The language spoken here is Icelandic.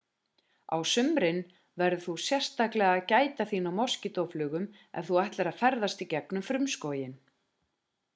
á sumrin verður þú sérstaklega að gæta þín á moskítóflugum ef þú ætlar að ferðast í gegnum frumskóginn